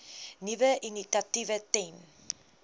nuwe initiatiewe ten